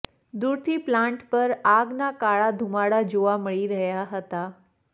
દૂરથી પ્લાન્ટ પર આગના કાળા ધુમાડા જોવા મળી રહ્યા હતા